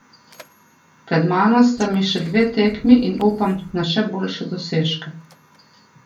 Pred mano sta mi še dve tekmi in upam na še boljše dosežke.